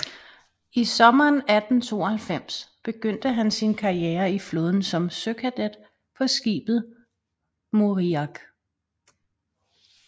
I sommeren 1892 begyndte han sin karriere i flåden som søkadet på skibet Moriak